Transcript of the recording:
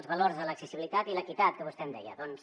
els valors de l’accessibilitat i l’equitat que vostè em deia doncs